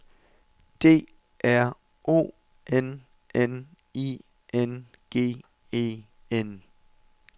D R O N N I N G E N